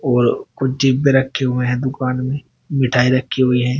और कुछ रखे हुए हैं दुकान मिठाई रखी हुई है।